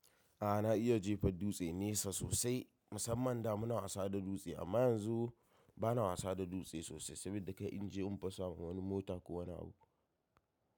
A'a na iya jefa dutse nesa sosai. Musamman da muna wasa da dutse amma yanzu bana wasa da dutse sosai saboda kai in je in fasa wani mota ko wani abu.